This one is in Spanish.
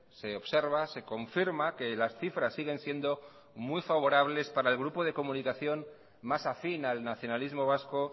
se observa se confirma que las cifras siguen siendo muy favorables para el grupo de comunicación más afín al nacionalismo vasco